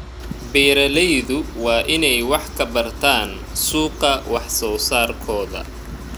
Beeraleydu waa inay wax ka bartaan suuqa wax soo saarkooda.